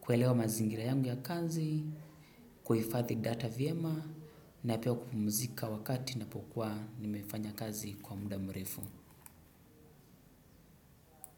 kuelewa mazingira yangu ya kazi, kuifadhi data vyema na pia kupumuzika wakati napokuwa nimefanya kazi kwa muda mrefu.